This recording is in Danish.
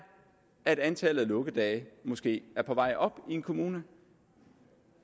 at antallet af lukkedage måske er på vej op i en kommune